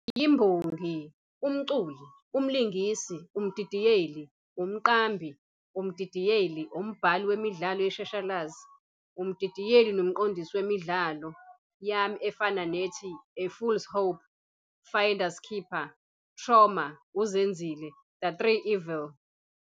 "Ngiyimbongi, umculi, umlingisi, umdidiyeli, umqambi, umdidiyeli, umbhali wemidlalo yeshashalazi, umdidiyeli nomqondisi wemidlalo yami efana nethi, 'A fools Hope,' 'Finders Keepers,' 'Trauma,' 'uZenzile,' 'The 3 Evil.